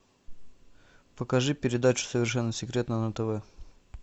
покажи передачу совершенно секретно на тв